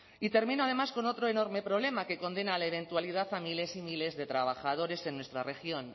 y termino además con otro enorme problema que condena a la eventualidad a miles y miles de trabajadores en nuestra región